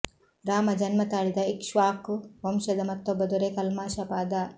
ರಾಮ ಜನ್ಮ ತಾಳಿದ ಇಕ್ಷ್ವಾಕು ವಂಶದ ಮತ್ತೊಬ್ಬ ದೊರೆ ಕಲ್ಮಾಶ ಪಾದ